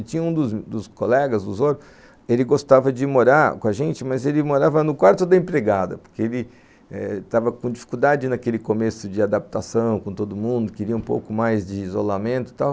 E tinha um dos dos colegas, ele gostava de morar com a gente, mas ele morava no quarto da empregada, porque ele estava com dificuldade naquele começo de adaptação com todo mundo, queria um pouco mais de isolamento e tal.